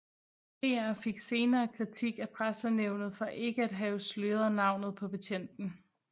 DR fik senere kritik af Pressenævnet for ikke at have sløret navnet på betjenten